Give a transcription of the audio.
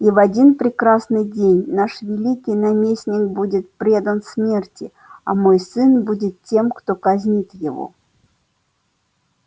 и в один прекрасный день наш великий наместник будет предан смерти а мой сын будет тем кто казнит его